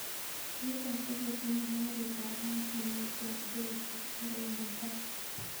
Beit ab tiketit nebo garit ab maat nengeten delhi akoi mumbai